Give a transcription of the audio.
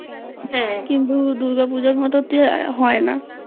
হ্যাঁ কিন্তু দুর্গা পুজোর মত তো হয় না